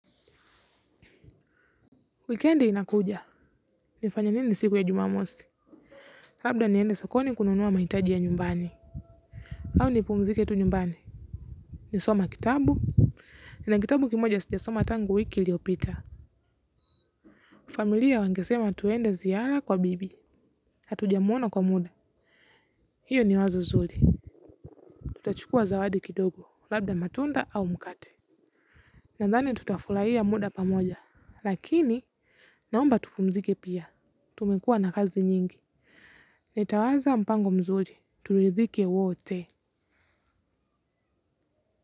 Wikendi inakuja, nifanye nini siku ya jumamosi. Labda niende sokoni kununua mahitaji ya nyumbani. Au nipumzike tu nyumbani. Nisome kitabu. Nina kitabu kimoja sijasoma tangu wiki iliopita. Familia wangesema tuende ziara kwa bibi. Hatujamuona kwa muda. Hiyo ni wazo zuri. Tutachukua zawadi kidogo labda matunda au mkate. Nandhani tutafurahia muda pamoja. Lakini, naomba tupumzike pia. Tumekuwa na kazi nyingi. Nitauanza mpango mzuri turidhike wote.